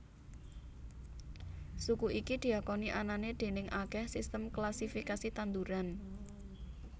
Suku iki diakoni anané déning akèh sistem klasifikasi tanduran